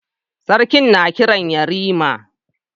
Sarki na Kiran yarima